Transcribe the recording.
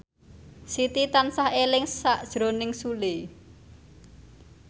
Siti tansah eling sakjroning Sule